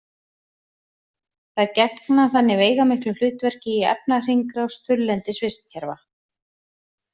Þær gegna þannig veigamiklu hlutverki í efnahringrás þurrlendis vistkerfa.